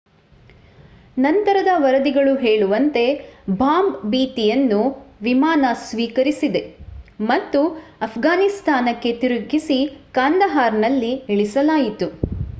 ನಂತರದ ವರದಿಗಳು ಹೇಳುವಂತೆ ಬಾಂಬ್ ಭೀತಿಯನ್ನು ವಿಮಾನ ಸ್ವೀಕರಿಸಿದೆ ಮತ್ತು ಅಫ್ಘಾನಿಸ್ತಾನಕ್ಕೆ ತಿರುಗಿಸಿ ಕಂದಹಾರ್‌ನಲ್ಲಿ ಇಳಿಸಲಾಯಿತು